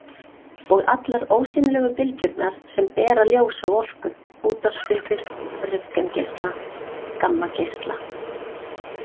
Og allar ósýnilegu bylgjurnar sem bera ljós og orku: útvarpsbylgjur, röntgengeisla, gammageisla.